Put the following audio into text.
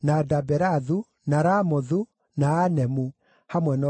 na Ramothu, na Anemu, hamwe na ũrĩithio wamo;